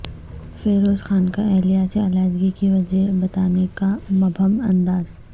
فیروز خان کا اہلیہ سے علیحدگی کی وجہ بتانے کا مبہم انداز